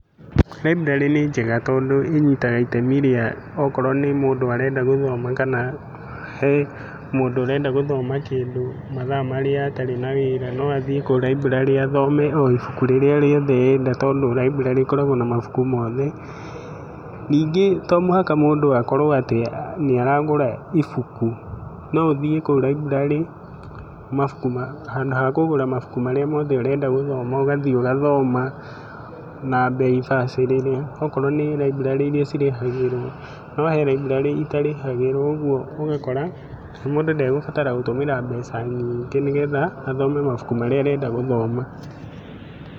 Raiburarĩ nĩ njega tondũ inyitaga itemi rĩa okorwo nĩ mũndũ arenda gũthoma, kana he mũndũ ũrenda gũthoma kĩndũ mathaa marĩa atarĩ na wĩra no athiĩ kũu raiburarĩ athome o ibuku rĩrĩa rĩothe arenda tondũ raiburarĩ ĩkoragwo na mabuku mothe ningĩ to mũhaka mũndũ akorwo atĩ nĩaragũra ibuku no ũthie kũu raiburarĩ handũ ha kũgũra mabuku marĩa mothe ũrenda gũthoma ũgathie ũgathoma na bei bacĩrĩre akorwo nĩ raiburarĩ iria irĩhagĩrwo, no he raiburarĩ iria itarĩhagĩrwo ũguo ũgakora mũndũ ndegũbatara gũtũmĩra mbeca nyingĩ nĩgetha athome mabuku maria arenda gũthoma.